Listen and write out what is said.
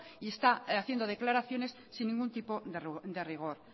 y está haciendo declaraciones sin ningún tipo de rigor